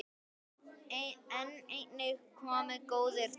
En einnig komu góðir tímar.